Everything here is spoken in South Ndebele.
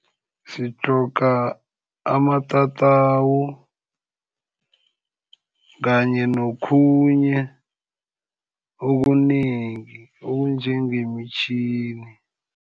Sitlhoga amatatawu, kanye nokhunye okunengi okunjengemitjhini.